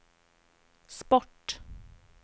sport